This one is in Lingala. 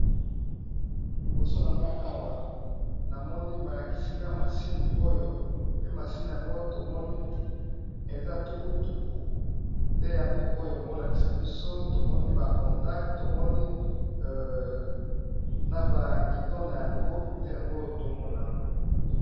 Liboso na nga awa namoni balakisinga masine oyo, pe masine yango tomoni eza tukutuku nde yango oyo baolakisa biso tomoni ba contac, tomoni na bagido na yango nde yango tomona awa.